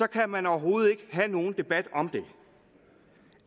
kan man overhovedet ikke have nogen debat om det